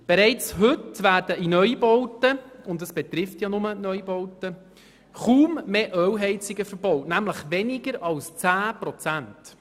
Bereits heute werden in Neubauten – und es betrifft ja nur die Neubauten – kaum mehr Ölheizungen verbaut, nämlich weniger als 10 Prozent.